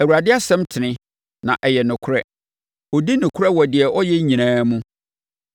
Awurade asɛm tene, na ɛyɛ nokorɛ ɔdi nokorɛ wɔ deɛ ɔyɛ nyinaa mu.